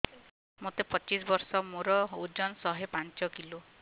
ମୋତେ ପଚିଶି ବର୍ଷ ମୋର ଓଜନ ଶହେ ପାଞ୍ଚ କିଲୋ